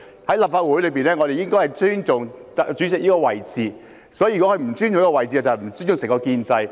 在立法會上，我們應尊重主席這位置，如果他不尊重這個位置，即不尊重整個建制。